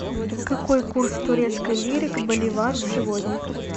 какой курс турецкой лиры к боливару сегодня